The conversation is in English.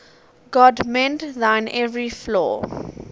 god mend thine every flaw